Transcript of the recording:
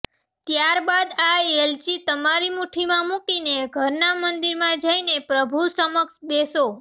ત્યારબાદ આ એલચી તમારી મુઠ્ઠીમાં મુકીને ઘરના મંદિરમાં જઈને પ્રભુ સમક્ષ બેસો